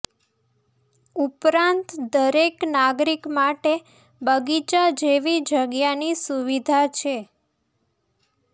ઉપરાંત દરેક નાગરિક માટે બગીચા જેવી જગ્યાની સુવિધા છે